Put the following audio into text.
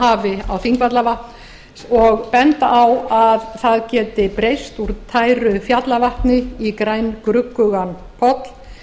hafi á þingvallavatn og benda á að það geti breyst úr tæru fjallavatni í grængruggugan poll